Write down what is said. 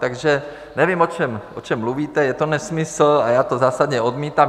Takže nevím, o čem mluvíte, je to nesmysl a já to zásadně odmítám.